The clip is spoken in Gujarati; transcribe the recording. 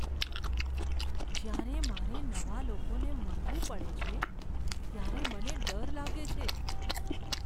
જ્યારે મારે નવા લોકોને મળવું પડે છે, ત્યારે મને ડર લાગે છે.